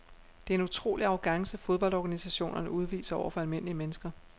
Det er en utrolig arrogance fodboldorganisationerne udviser over for almindelige mennesker.